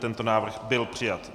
Tento návrh byl přijat.